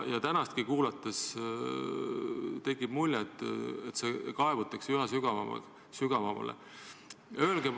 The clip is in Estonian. Tänagi kuulates tekib mulje, et kaevutakse üha sügavamale.